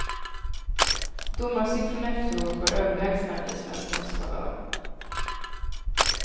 Domarsiffrorna efteråt var överlägsna i svenskens favör.